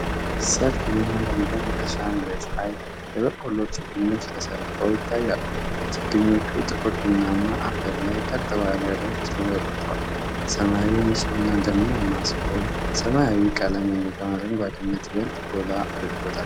ሰፊና ለምለም የእርሻ መሬት ላይ የበቆሎ ችግኞች ተሰልፈው ይታያሉ። ችግኞቹ ጥቁር ቡናማ አፈር ላይ ቀጥ ባለ ረድፍ ተዘርግተዋል። ሰማዩ ንፁህና ደመናማ ሲሆን ሰማያዊው ቀለም የሜዳውን አረንጓዴነት ይበልጥ ጎላ አድርጎታል።